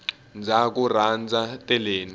ndzaku rhandza teleni